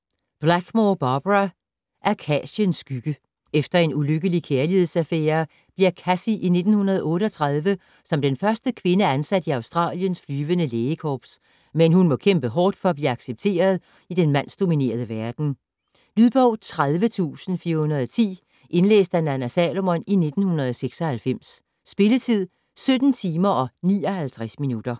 Bickmore, Barbara: Akaciens skygge Efter en ulykkelig kærlighedsaffære bliver Cassie i 1938 som den første kvinde ansat i Australiens flyvende lægekorps, men hun må kæmpe hårdt for at blive accepteret i den mandsdominerede verden. Lydbog 30410 Indlæst af Nanna Salomon, 1996. Spilletid: 17 timer, 59 minutter.